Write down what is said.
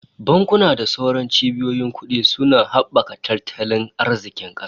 Bankuna da sauran cibiyoyin kudi suna habaka tattalin arzikin kasa